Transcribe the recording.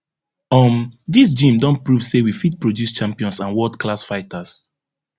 um dis gym don prove say we fit produce champions and worldclass fighters